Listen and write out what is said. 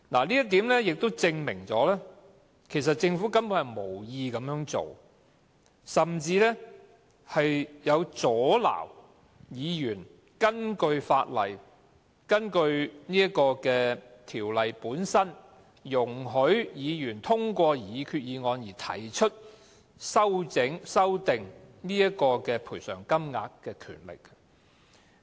這點亦證明，其實政府根本無意這樣做，甚至阻撓議員使用根據《致命意外條例》本身，容許議員通過擬議決議案而提出修訂賠償金額的權力。